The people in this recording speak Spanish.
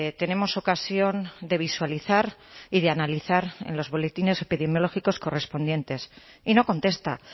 tenemos ocasión de visualizar y de analizar en los boletines epidemiológicos correspondientes y no contesta